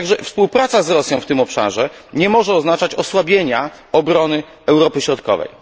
Także współpraca z Rosją w tym obszarze nie może oznaczać osłabienia obrony Europy Środkowej.